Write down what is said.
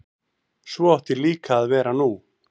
Svo átti líka að vera nú.